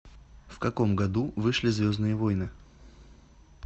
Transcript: в каком году вышли звездные войны